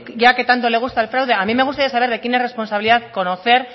ya que tanto le gusta el fraude a mí me gustaría saber de quién es responsabilidad conocer